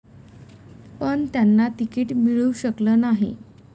पण त्यांना तिकीट मिळू शकलं नाही.